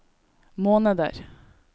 måneder